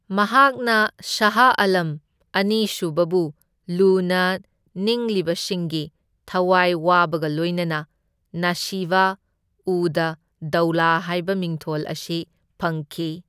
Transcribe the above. ꯃꯍꯥꯛꯅ ꯁꯥꯍ ꯑꯥꯂꯝ ꯑꯅꯤꯁꯨꯕꯕꯨ ꯂꯨꯅ ꯅꯤꯡꯂꯤꯕꯁꯤꯡꯒꯤ ꯊꯋꯥꯏ ꯋꯥꯕꯒ ꯂꯣꯏꯅꯅ ꯅꯁꯤꯕ ꯎꯗ ꯗꯧꯂꯥ ꯍꯥꯏꯕ ꯃꯤꯡꯊꯣꯜ ꯑꯁꯤ ꯐꯪꯈꯤ꯫